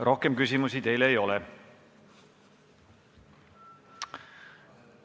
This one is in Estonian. Rohkem küsimusi ei ole.